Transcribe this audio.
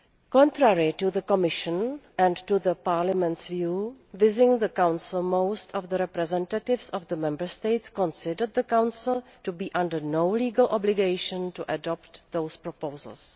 Contrary to the Commission's and Parliament's views, within the Council most of the representatives of the Member States considered the Council to be under no legal obligation to adopt those proposals.